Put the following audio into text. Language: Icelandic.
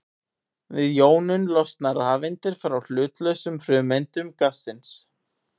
Við jónun losna rafeindir frá hlutlausum frumeindum gassins.